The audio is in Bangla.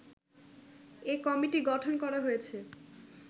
এ কমিটি গঠন করা হয়েছে